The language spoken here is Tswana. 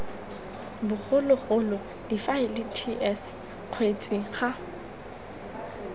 bogologolo difaele ts kgetsi ga